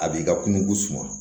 A b'i ka kungo suman